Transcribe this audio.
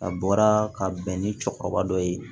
A bɔra ka bɛn ni cɛkɔrɔba dɔ ye